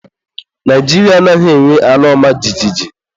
Naijiria anaghị enwe ala ọma jijiji.